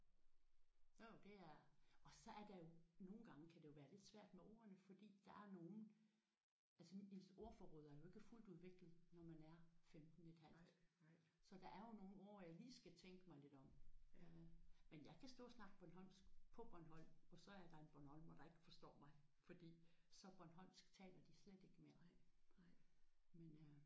Jo jo det er og så er der jo nogle gange kan det jo være lidt svært med ordene fordi der er nogen altså ens ordforråd er jo ikke fuldt udviklet når man er 15,5 så der er jo nogle ord jeg lige skal tænke mig lidt om øh men jeg kan stå og snakke bornholmsk på Bornholm og så er der en bornholmer der ikke forstår mig for så bornholmsk taler de slet ikke mere